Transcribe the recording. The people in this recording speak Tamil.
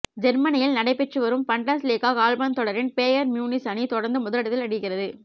ஜெர்மனியில் நடைபெற்று வரும் பண்டஸ்லீகா கால்பந்து தொடரில் பேயர்ன் மியூனிச் அணி தொடர்ந்து முதலிடத்தில் நீடிக்கிறது